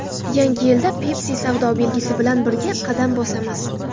Yangi yilda Pepsi savdo belgisi bilan birga qadam bosamiz.